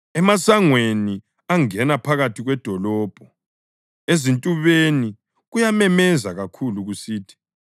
emasangweni angena phakathi kwedolobho, ezintubeni kuyamemeza kakhulu kusithi: